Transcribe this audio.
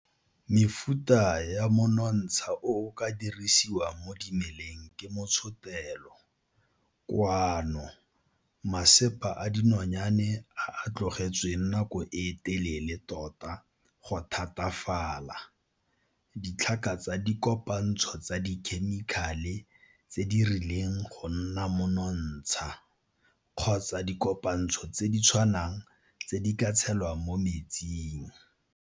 Mefuta ya monontsha o o ka dirisiwang mo dimeleng ke motshotelo, koano masepa a dinonyane a a tlogetsweng nako e telele tota go thatafala, ditlhaka tsa dikopantsho tsa dikhemikale tse di rileng go nna monontsha, kgotsa dikopantsho tse di tshwanang tse di ka tselwang mo metsing.